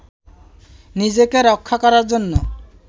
নিজেকে রক্ষা করার জন্য